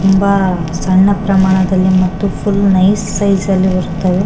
ತುಂಬ ಸಣ್ಣ ಪ್ರಮಾಣದಲ್ಲಿ ಮತ್ತು ಫುಲ್ ನೈಸ್ ಸೈಜ್ ಅಲ್ಲಿ ಬರುತ್ತದೆ .